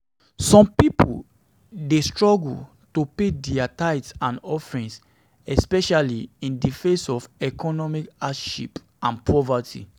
Some people dey struggle to pay dia tithes and offerings, especially in di face of economic hardship and poverty.